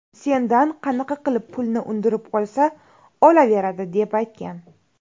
Sendan qanaqa qilib pulni undirib olsa olaveradi”, deb aytgan.